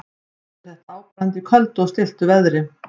Mest er þetta áberandi í köldu og stilltu veðri.